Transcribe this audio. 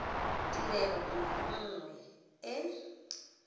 tirelo nngwe le nngwe e